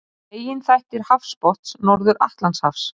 Meginþættir hafsbotns Norður-Atlantshafs.